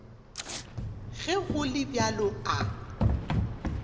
ge go le bjalo a